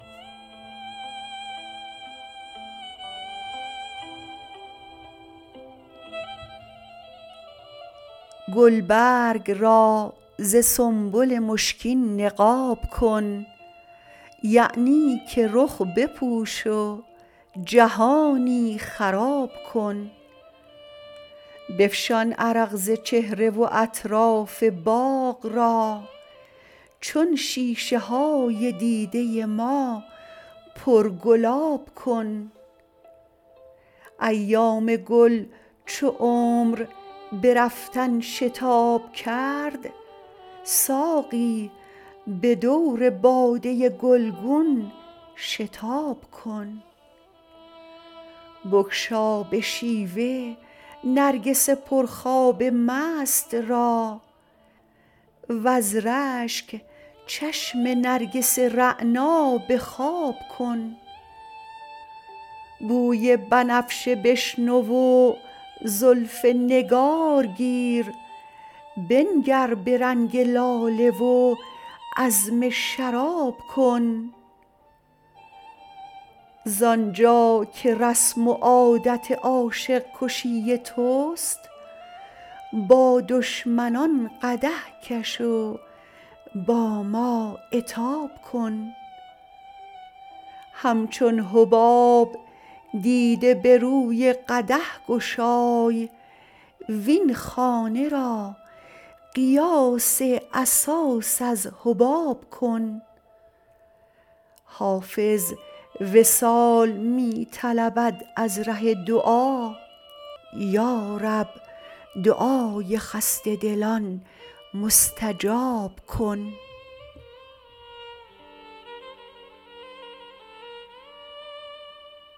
گلبرگ را ز سنبل مشکین نقاب کن یعنی که رخ بپوش و جهانی خراب کن بفشان عرق ز چهره و اطراف باغ را چون شیشه های دیده ما پرگلاب کن ایام گل چو عمر به رفتن شتاب کرد ساقی به دور باده گلگون شتاب کن بگشا به شیوه نرگس پرخواب مست را وز رشک چشم نرگس رعنا به خواب کن بوی بنفشه بشنو و زلف نگار گیر بنگر به رنگ لاله و عزم شراب کن زآن جا که رسم و عادت عاشق کشی توست با دشمنان قدح کش و با ما عتاب کن همچون حباب دیده به روی قدح گشای وین خانه را قیاس اساس از حباب کن حافظ وصال می طلبد از ره دعا یا رب دعای خسته دلان مستجاب کن